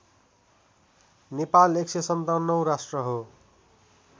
नेपाल १५७ औं राष्ट्र हो